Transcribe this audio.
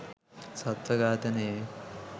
සත්ව ඝාතනයේ